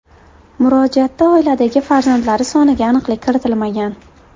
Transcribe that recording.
Murojaatda oiladagi farzandlari soniga aniqlik kiritilmagan.